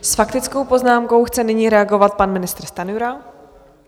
S faktickou poznámkou chce nyní reagovat pan ministr Stanjura.